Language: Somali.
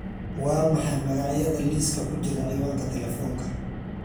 waa maxay magacyada liiska ku jira ciwaanka telefoonka